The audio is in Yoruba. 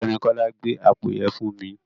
Ọ̀gbẹ́ni Kọ́lá, gbé àpò yẹn fún mi.